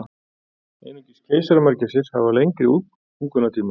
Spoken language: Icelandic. Einungis keisaramörgæsir hafa lengri útungunartíma.